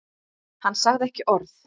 Hann sagði ekki orð.